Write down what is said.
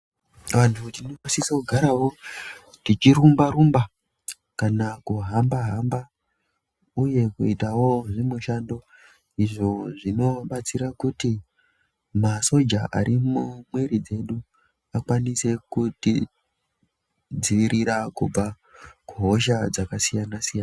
Vantu tinosise kugaravo teirumba-rumba, kana kuhamba-hamba, uye kuitawo zvimushando izvo zvinobatsira kuti masoja arimumwiri dzedu akwanise kuti dzivirira kubva kuhosha dzakasiyana-siyana.